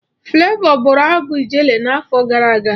Flavour bụrụ abụ Ijele n'afọ gara aga.